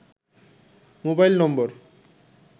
mobile নম্বর